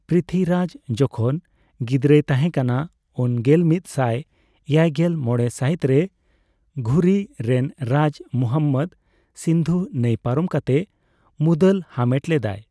ᱯᱨᱤᱛᱷᱤᱨᱟᱡᱽ ᱡᱚᱠᱷᱚᱱ ᱜᱤᱫᱽᱨᱟᱹᱭ ᱛᱟᱸᱦᱮ ᱠᱟᱱᱟ᱾ ᱩᱱ ᱜᱮᱞ ᱢᱤᱛ ᱥᱟᱭ ᱮᱭᱟᱭᱜᱮᱞ ᱢᱚᱲᱮ ᱥᱟᱹᱦᱤᱛᱨᱮ ᱜᱷᱩᱨᱤ ᱨᱮᱱ ᱨᱟᱡᱽ ᱢᱩᱦᱚᱢᱢᱫ ᱥᱤᱱᱫᱷᱩ ᱱᱟᱹᱭ ᱯᱟᱨᱚᱢ ᱠᱟᱛᱮ ᱢᱩᱞᱫᱟᱞ ᱦᱟᱢᱮᱴ ᱞᱮᱫᱟᱭ ᱾